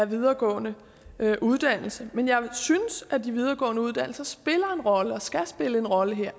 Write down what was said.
videregående uddannelser men jeg synes at de videregående uddannelser spiller en rolle og skal spille en rolle her